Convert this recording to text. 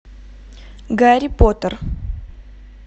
гарри поттер